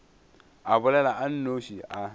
a bolela a nnoši a